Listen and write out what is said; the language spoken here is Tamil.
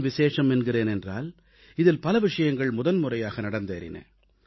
ஏன் விசேஷம் என்கிறேன் என்றால் இதில் பல விஷயங்கள் முதன்முறையாக நடந்தேறின